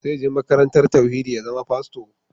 Zai je makarantar tauhidi ya zama fasto